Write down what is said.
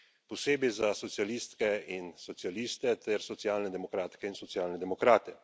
Posebej za socialistke in socialiste ter socialne demokratke in socialne demokrate.